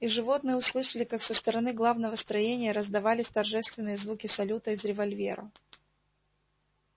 и животные услышали как со стороны главного строения раздавались торжественные звуки салюта из револьвера